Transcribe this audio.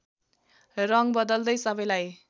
रङ बदल्दै सबैलाई